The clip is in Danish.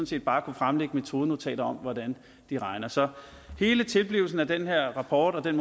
set bare kunne fremlægge metodenotater om hvordan de regner så hele tilblivelsen af den her rapport og den